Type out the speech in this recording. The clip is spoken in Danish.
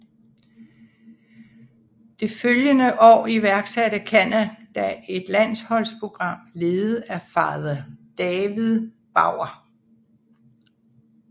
Det følgende år iværksatte Canada et landsholdsprogram ledet af Father David Bauer